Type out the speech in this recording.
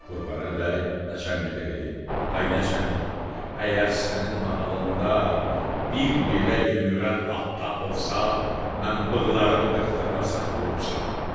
Qurbanəli bəy naçalnikə dedi: Ay naçalnik, əgər sənin mahalında bir belə yüyürən at tapılsa, mən bığlarımı qırxdırmasam qurumsağam.